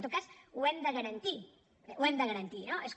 en tot cas ho hem de garantir ho hem de garantir no és com